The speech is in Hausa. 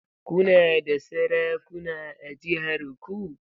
Kuna da sarakuna a jihar ku?